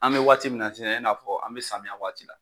An bɛ waati min n'a sisan i na fɔ an bɛ samiya waati la.